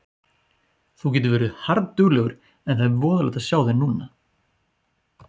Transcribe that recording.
Þú getur verið harðduglegur en það er voðalegt að sjá þig núna.